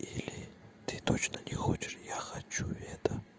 или ты точно не хочешь я хочу это